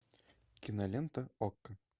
кинолента окко